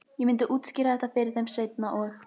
Ég myndi útskýra þetta fyrir þeim seinna- og